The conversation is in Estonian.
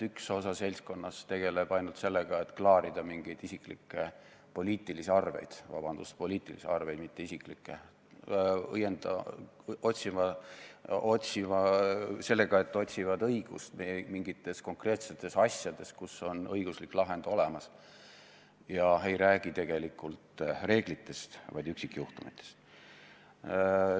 Üks osa seltskonnast tegeleb ainult sellega, et klaarida mingeid isiklikke poliitilisi arveid – vabandust, "poliitilisi arveid", mitte "isiklikke" – sellega, et otsivad õigust mingites konkreetsetes asjades, kus on õiguslik lahend olemas, ega räägi tegelikult reeglitest, vaid üksikjuhtumitest.